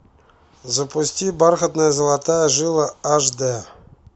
запусти бархатная золотая жила аш дэ